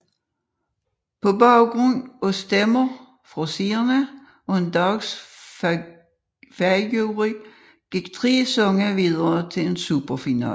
På baggrund af stemmer fra seerne og en dansk fagjury gik tre sange videre til en superfinale